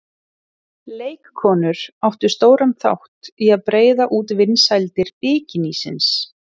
Leikkonur áttu stóran þátt í að breiða út vinsældir bikinísins.